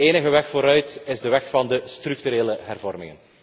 De enige weg vooruit is de weg van de structurele hervormingen.